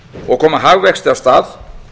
og koma hagvexti af stað